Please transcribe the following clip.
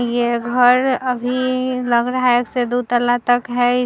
ये घर अभी लग रहा है एक से दु तल्ला तक है।